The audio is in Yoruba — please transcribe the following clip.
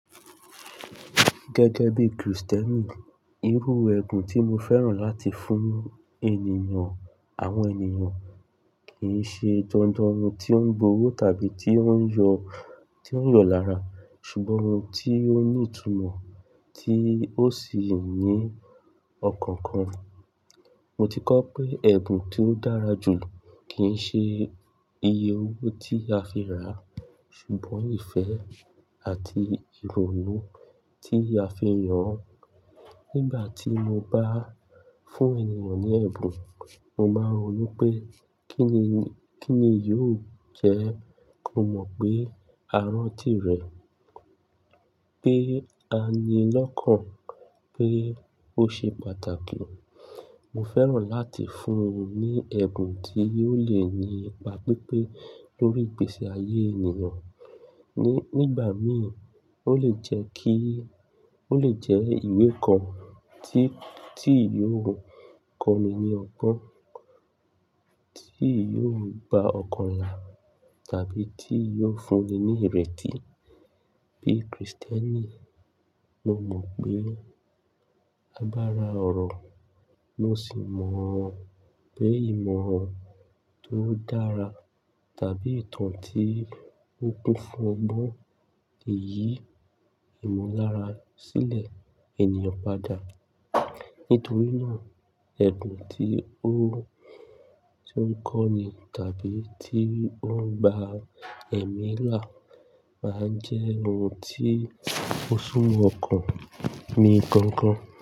Gẹ́gẹ́ bí Kristẹni, irú ẹbùn tí mo fẹ́ràn láti fún ènìyàn àwọn ènìyàn kì í ṣe dandan ohun tí ó ń bo o tàbí tí ó ń yọ, tí ó ń yọ lára, ṣùgbọ́n ohun tí ó ní ìtumọ̀ tí ó sì ní ọkàn kan. Mo ti kọ́ pé ẹ̀bùn tí ó dára jù kì í ṣe iye owó tí a fi rà, ṣùgbọ́n ìfẹ́ àti ìrònú tí a fi yàn án. Nígbà tí mo bá fún ènìyàn ní ẹ̀bùn, mo máa n ronú pé kíni, kíni yóò jẹ́ kó mọ̀ pé a rántí rẹ̀, pé a ni lọ́kàn, pé ó ṣe pàtàkì. Mo fẹ́ràn láti fún un ní ẹ̀bùn tí ó lè ní ipa pípé lórí ìgbésí ayé ènìyàn. Nígbà mí, ó lè jẹ́ kí, ó lè jẹ́ ìwé kan tí, tí yóò kọ́ni ní ọgbọ́n, tí yóò gba ọkàn la tàbí tí yóò fúnni ní ìrètí. Bí Kristẹni, mo mọ̀ pé a bá ra ọ̀rọ̀, mo sì mọ̀ pé ìmọ̀ tó dára tàbí ìtàn tí ó kún fún ọgbọ́n lè yí ìmọ̀lára sílẹ̀ ènìyàn padà. Nítorí náà, ẹ̀bùn tí ó, tí ó ń kọ́ni tàbí tí ó ń gba ẹ̀mí là máa jẹ́ ohun tí ó súnmọ́ ọkàn mi gan gan.